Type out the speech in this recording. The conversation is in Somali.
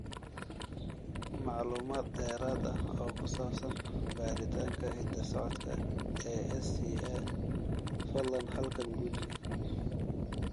Macluumaad dheeraad ah oo ku saabsan baaritaanka hidda-socodka ee SCA, fadlan halkan guji.